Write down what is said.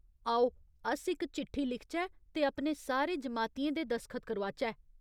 आओ, अस इक चिट्ठी लिखचै ते अपने सारे जमातियें दे दसखत करोआचै।